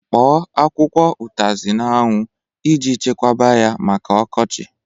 Kpọọ akwụkwọ utazi n'anwu e ji chekwaba ya maka okochi